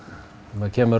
maður kemur